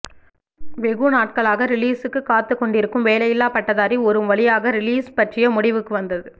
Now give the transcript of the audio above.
வெகு நாட்களாக ரிலீஸ்க்கு காத்து கொண்டிருக்கும் வேலையில்லா பட்டதாரி ஒரு வழியாக ரிலீஸ் பற்றிய முடிவுக்கு வந்தது